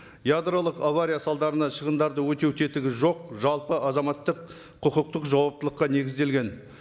ядролық авария салдарынан шығындарды өтеу тетігі жоқ жалпы азаматтық құқықтық жауаптылыққа негізделген